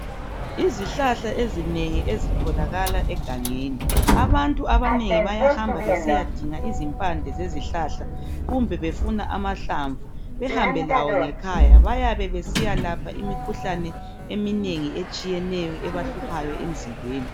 Izihlahla ezinengi ezitholakala egangeni abantu abanengi bayahamba besiyadinga izimpande zezihlahla kumbe befuna amahlamvu behambe lawo ngekhaya bayabe besiya lapha imikhuhlane eminengi etshiyeneyo ebahluphayo emzimbeni.